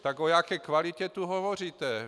Tak o jaké kvalitě tu hovoříte?